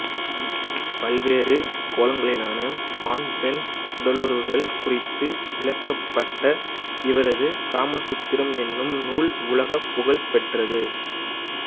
பல்வேறு கோணங்களிலான ஆண்பெண் உடலுறவுகள் குறித்து விளக்கப்பட்ட இவரது காமசூத்திரம் எனும் நூல் உலகப் புகழ் பெற்றது